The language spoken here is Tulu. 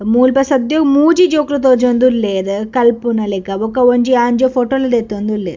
ಮೂಲ್‌ ಇಪ್ಪ ಸದ್ಯಗ್ ಮೂಜಿ ಜೋಕುಲ ತೋಜಿಯೋಂಡ್‌ ಉಲ್ಲೇರ್‌ ಕಲ್ಪುನ ಲೆಕ್ಕ ಬುಕ್ಕ ಒಂಜಿ ಆನ್‌ಜ್ಯೋ ಫೋಟೊಲ್ ದೆತ್ತೊನ್‌ ಉಲ್ಲೇರ್.